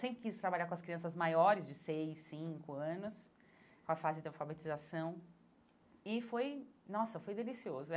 Sempre quis trabalhar com as crianças maiores de seis, cinco anos, com a fase de alfabetização, e foi, nossa, foi delicioso.